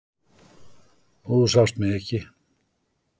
Þú sást mig ekki.